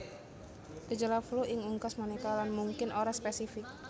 Gejala flu ing unggas manéka lan mungkin ora spésifik